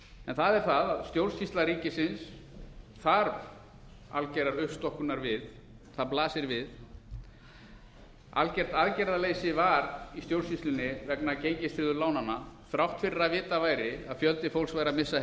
en það er það að stjórnsýsla ríkisins þarf algerrar uppstokkunar við það blasir við að algert aðgerðarleysi var í stjórnsýslunni vegna gengistryggðu lánanna þrátt fyrir að vitað væri að fjöldi fólks væri að missa